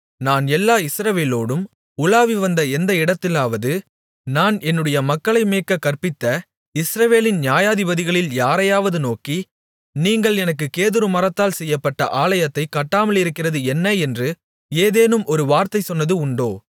நான் எல்லா இஸ்ரவேலோடும் உலாவி வந்த எந்த இடத்திலாவது நான் என்னுடைய மக்களை மேய்க்கக் கற்பித்த இஸ்ரவேலின் நியாயாதிபதிகளில் யாரையாவது நோக்கி நீங்கள் எனக்குக் கேதுருமரத்தால் செய்யப்பட்ட ஆலயத்தைக் கட்டாமலிருக்கிறது என்ன என்று ஏதேனும் ஒரு வார்த்தை சொன்னது உண்டோ